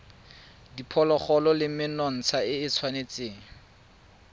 diphologolo le menontsha e tshwanetse